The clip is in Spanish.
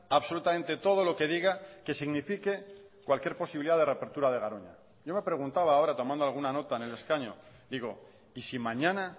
absolutamente todo lo que diga que signifique cualquier posibilidad de reapertura de garoña yo me preguntaba ahora tomando alguna nota en el escaño digo y si mañana